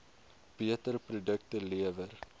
beter produkte lewer